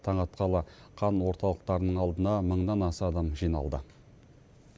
таң атқалы қан орталықтарының алдына мыңнан аса адам жиналды